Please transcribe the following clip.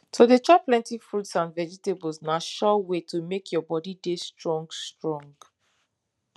to dey chop plenty fruits and vegetables na sure way to make your body dey strong strong